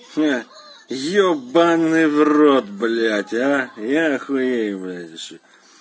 ебанный в рот блять а я охуеваю